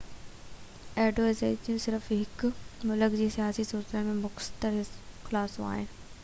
ايڊوائيزريون صرف هڪ ملڪ جي سياسي صورتحال جو مختصر خلاصو آهن